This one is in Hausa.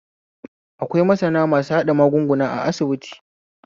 Akwai masana masu haɗa magunguna a asibiti